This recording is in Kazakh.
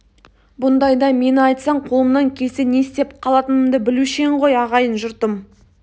бұндайда мені айтсаң қолымнан келсе не істеп қалатынымды білуші ең ғой ағайын жұртым